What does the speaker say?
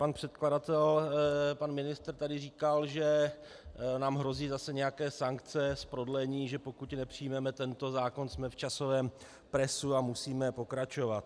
Pan předkladatel, pan ministr, tady říkal, že nám hrozí zase nějaké sankce z prodlení, že pokud nepřijmeme tento zákon, jsme v časovém presu a musíme pokračovat.